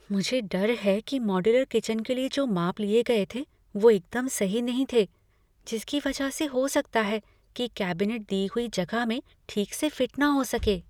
मुझे डर है कि मॉड्यूलर किचन के लिए जो माप लिए गए थे, वे एकदम सही नहीं थे, जिसकी वजह से हो सकता है कि कैबिनेट दी हुई जगह में ठीक से फिट न हो सकें।